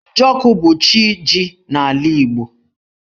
Njọkụ bu chi jì n'ala Igbo.